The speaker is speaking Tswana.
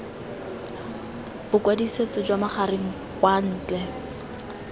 bokwadisetso jwa magareng kwa ntle